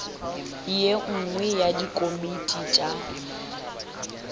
ye nngwe ya dikomiti tša